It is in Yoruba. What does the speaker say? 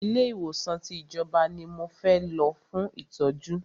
Ilé ìwòsàn tí ìjọba ní mo fẹ́ lọ fún ìtọ́jú!